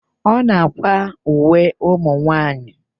Ọ na-àkwá uwe ụmụnwaanyị.